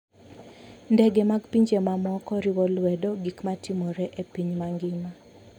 Ndege mag pinje mamoko riwo lwedo gik matimore e piny mangima.